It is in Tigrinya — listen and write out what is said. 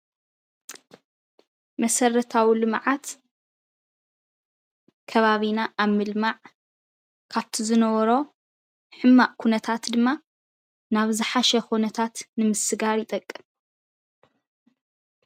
መሰረታዊ ልምዓት ከባቢና ኣብ ምልማዕ ካብቲ ዝነበሮ ሕማቅ ኩነታት ድማ ናብ ዝሓሸ ኩነታት ንምስጋር ይጠቅም።